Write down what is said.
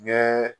Ɲɛ